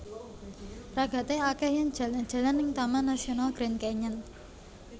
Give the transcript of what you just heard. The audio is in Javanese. Ragate akeh yen jalan jalan ning Taman Nasional Grand Canyon